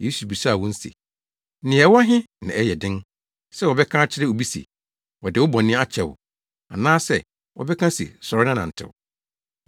Yesu bisaa wɔn se, “Nea ɛwɔ he na ɛyɛ den, sɛ wɔbɛka akyerɛ obi se, wɔde wo bɔne akyɛ wo anaasɛ, wɔbɛka se sɔre na nantew?